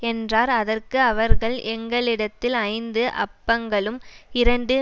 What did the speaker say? என்றார் அதற்கு அவர்கள் எங்களிடத்தில் ஐந்து அப்பங்களும் இரண்டு